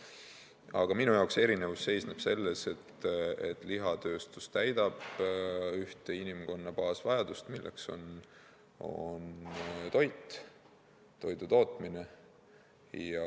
Aga minu jaoks erinevus seisneb selles, et lihatööstus täidab ühte inimkonna baasvajadust, milleks on toit, toidutootmine.